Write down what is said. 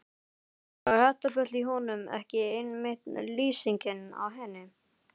Var þetta bull í honum ekki einmitt lýsingin á henni?